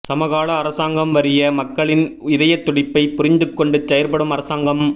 சமகால அரசாங்கம் வறிய மக்களின் இதயத் துடிப்பை புரிந்துகொண்டு செயற்படும் அரசாங்கம்